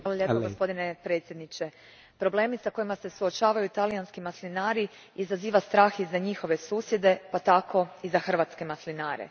Gospodine predsjedniče, problemi s kojima se suočavaju talijanski maslinari izaziva strah i za njihove susjede pa tako i za hrvatske maslinare.